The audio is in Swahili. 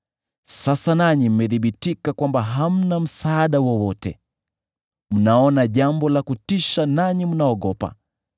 Sasa nanyi mmethibitika kwamba hamna msaada wowote; mnaona jambo la kutisha, nanyi mnaogopa.